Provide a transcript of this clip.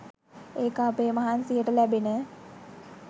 ඒක අපේ මහන්සියට ලැබෙන